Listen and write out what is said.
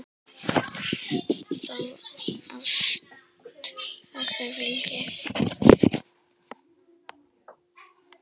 Þér ást okkar fylgi.